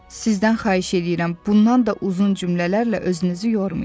Sizdən xahiş eləyirəm, bundan da uzun cümlələrlə özünüzü yormayın.